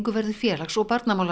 verður félags og